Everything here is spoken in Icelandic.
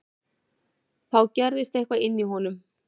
Þá gerðist eitthvað inní honum.